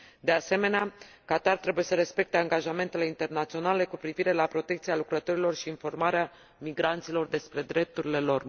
De asemenea, Qatar trebuie să respecte angajamentele internaționale cu privire la protecția lucrătorilor și informarea migranților despre drepturile lor.